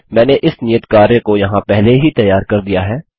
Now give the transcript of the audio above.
मैंने इस नियत कार्य को यहाँ पहले ही तैयार कर दिया है